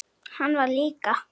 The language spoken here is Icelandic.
Hann var líka.